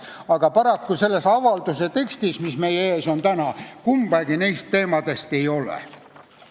Aga paraku selles avalduse tekstis, mis meie ees täna on, kumbagi neist teemadest ei ole.